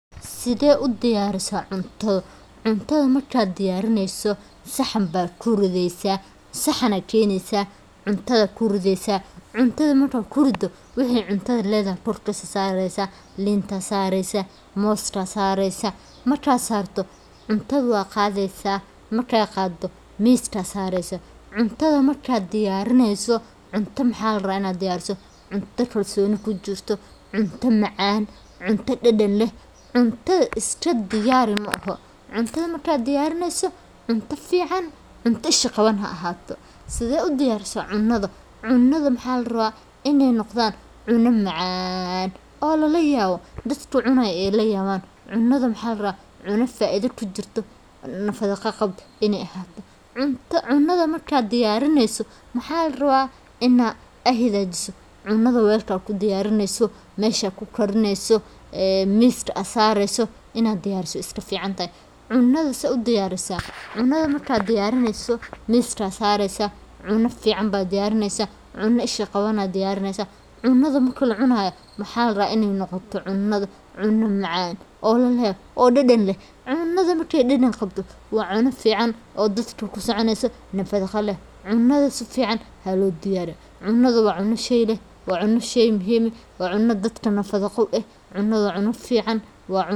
Sidee u diyarisee cunto cuntada marka aad diyarineeso waa muhiim inaad marka hore hubiso in dhammaan agabka iyo maaddooyinka ay diyaar yihiin taasoo kaa caawin doonta inaad si hufan u shaqeyso marka aad bilowdo karinta tusaale ahaan waxaad ubaahan tahay inaad leedahay knife si aad u jarjarto khudaarta ama hilibka sidoo kale pan ama digsiga aad wax ku karin doonto waxaa muhiim ah inaad nadiifiso meelaha aad wax ku diyaarinayso si aad uga hortagto wasakhda marka aad dhammaan alaabta diyaarsato waxaad bilaabi kartaa inaad dhir udgoon sida basasha iyo toon ku shiiddo blender ama aad gacanta ku burburiso kadibna saliid ku shubto digsiga kuna ridto dhirtaas marka ay udugto waxaad ku dari kartaa hilibka ama digaaga adigoo si fiican u walaaqaya muddo toban daqiiqo kadib waxaad ku dari kartaa khudaar kale sida baradho yaanyo iyo karootada kadibna waxaad ku shubi kartaa biyo yar si ay u bislaadaan waxaadna u ogolaanaysaa inay kariyaan ilaa ay si fiican u bislaadaan ugu dambeyn waxaad ku dari kartaa milix iyo xawaash aad dooratay si aad u dhameystirto dhadhanka cuntadaada.